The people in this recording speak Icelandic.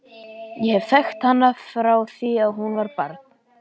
Ég hef þekkt hana frá því að hún var barn.